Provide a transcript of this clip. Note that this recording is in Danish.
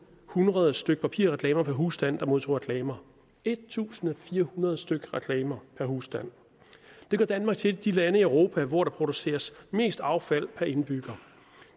hundrede styk papirreklamer per husstand der modtog reklamer en tusind fire hundrede styk reklamer per husstand det gør danmark til et af de lande i europa hvor der produceres mest affald per indbygger